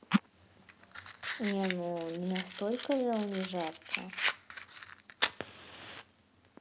не ну не настолько же унижаться